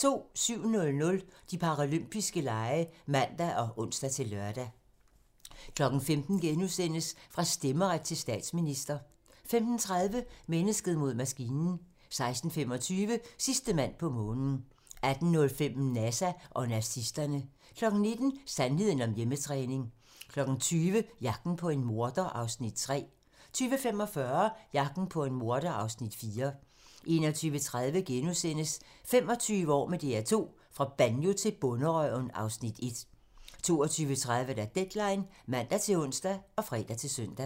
07:00: De paralympiske lege (man og ons-lør) 15:00: Fra stemmeret til statsminister * 15:30: Mennesket mod maskinen 16:25: Sidste mand på månen 18:05: NASA og nazisterne 19:00: Sandheden om hjemmetræning 20:00: Jagten på en morder (Afs. 3) 20:45: Jagten på en morder (Afs. 4) 21:30: 25 år med DR2 - fra Banjo til Bonderøven (Afs. 1)* 22:30: Deadline (man-ons og fre-søn)